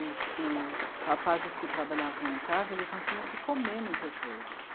Os, os rapazes que trabalhavam lá em casa não tinham o que comer muitas vezes.